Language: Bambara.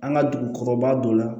An ka dugu kɔrɔba dɔ la